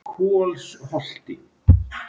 Kolsholti